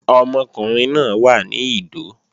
Ọmọkùnrin náà wà ní Ìdó